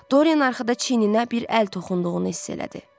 Doryan arxada çiyninə bir əl toxunduğunu hiss elədi.